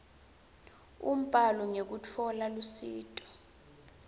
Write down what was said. umbhalo ngekutfola lusito